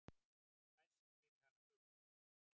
Fæst fyrir hana gull.